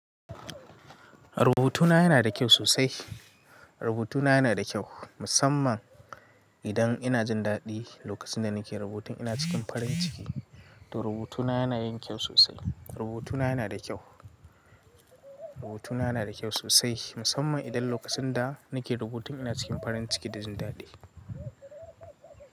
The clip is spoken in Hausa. Rubutuna yana da kyau sosai. Rubutuna ya na da kyau, musamman idan ina jin daɗi lokacin da na ke rubutu ina cikin farin ciki, to rubutuna ya na yin kyau sosai. Rubutuna ya na da kyau. Rubutuna ya na da kyau sosai musamman idan lokacin da nake rubutun ina cikin farin ciki da jin daɗi.